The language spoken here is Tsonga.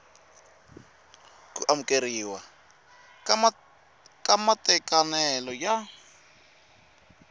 ku amukeriwa ka matekanelo ya